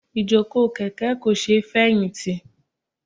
Ìjókòó kèké kò sé feyinti.